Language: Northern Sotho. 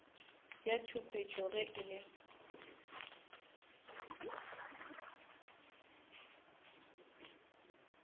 ya tšhupetšo ge e le